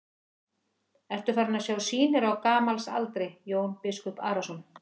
Ertu farinn að sjá sýnir á gamals aldri, Jón biskup Arason?